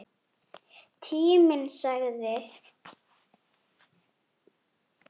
Tíminn sagði